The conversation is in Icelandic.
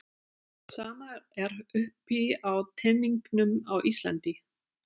Sama er uppi á teningnum á Íslandi